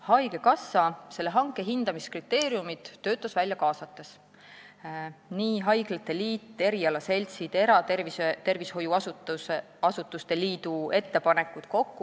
" Haigekassa töötas selle hanke hindamiskriteeriumid välja, kaasates haiglate liidu, erialaseltside, eratervishoiuasutuste liidu jt ettepanekuid.